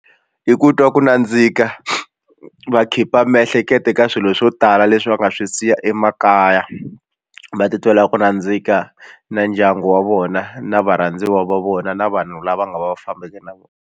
I ku twa ku nandzika va khipha miehleketo eka swilo swo tala leswi va nga swi siya emakaya va titwela ku nandzika na ndyangu wa vona na varhandziwa va vona na vanhu lava nga va fambake na vona.